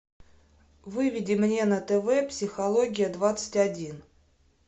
выведи мне на тв психология двадцать один